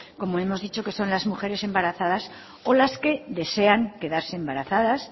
como hemos dicho que son las mujeres embarazadas o las que desean quedarse embarazadas